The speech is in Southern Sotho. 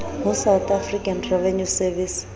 ho south african revenue service